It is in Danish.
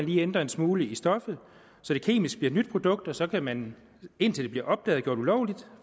lige ændre en smule i stoffet så det kemisk bliver et nyt produkt og så kan man indtil det bliver opdaget gjort ulovligt